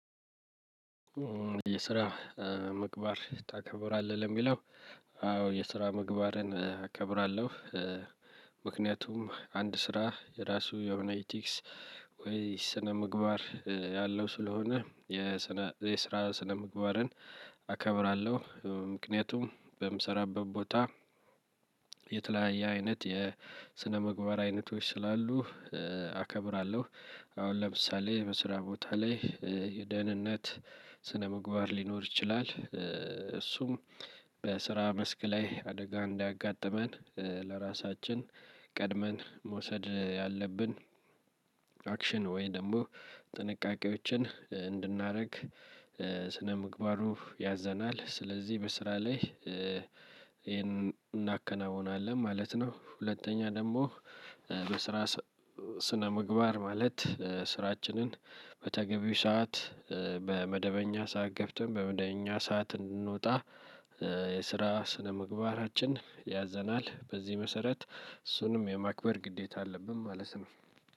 የስራ ምግባር ታከብራለህ የሚለው አዎ የስራ ምግባርን እከብራለሁ። ምክንያቱም አንድ ስራ የራሱ የሆነ ኢቲክስ ወይ ስነ ምግባር ያለው ስለሆነ። የስራ ስነ ምግባርን አከብራለሁ ምክንያቱም በምሰራበት ቦታ የተለያየ አይነት የስነምግባር አይነቶች ስላሉ አከብራለሁ። አሁን ለምሳሌ በስራ ቦታ ላይ የደህንነት ስነ ምግባር ሊኖር ይችላል እሱም በስራ መስክ ላይ አደጋ እንዳያጋጥመን ለራሳችን ቀድመን መውሰድ ያለብን። አክሽን ወይ ደግሞ ጥንቃቄዎችን እንድናደርግ ስነምግባሩ ያዘናል። ስለዚህ በስራ ላይ ይሄንን እናከናውናለን ማለት ነው። ሁለተኛ ደግሞ የስራ ስነ ምግባር ማለት ስራችንን በተገቢው ሰዓት በመደበኛ ሰዓት ገብተን በመደበኛ ሰዓት እንድንወጣ። የስራ ስነምግባራችን ያዘናል በዚህ መሰረት እሱንም የማክበር ግዴታ አለብን ማለት ነው።